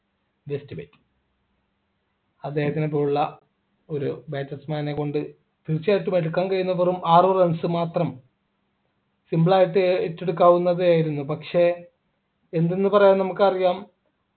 just wait അദ്ദേഹത്തിനെ പോലുള്ള ഒരു batsman നെ കൊണ്ട് തീർച്ചയായിട്ടും എടുക്കാൻ കഴിയുന്ന വെറും ആറു runs മാത്രം simple ആയിട്ട് ഏറ്റെടുകാവുന്നതായിരുന്നു പക്ഷേ എന്തെന്ന് പറയാം നമുക്കറിയാം